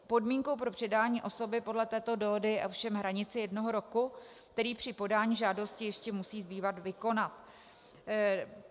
Podmínkou pro předání osoby podle této dohody je ovšem hranice jednoho roku, který při podání žádosti ještě musí zbývat vykonat.